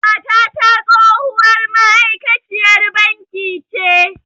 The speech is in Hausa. Matata tsohuwar ma'aikaciyar banki ce